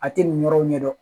A tɛ nin yɔrɔw ɲɛ dɔn